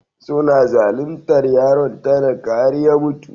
Suna zaluntar yaron talaka har ya mutu.